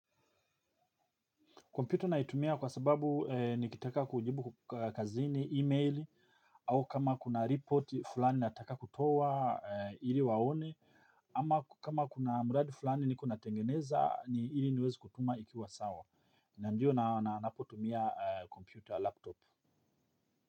Kompyuta naitumia kwa sababu nikitaka kujibu kazini, email, au kama kuna report fulani nataka kutoa ili waone, ama kama kuna mradi fulani niko na ltengeneza ni ili niwezw kutuma ikiwa sawa. Na ndiyo na napotumia computer laptop.